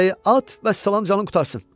Dəstəyi at, vəssalam canın qurtarsın.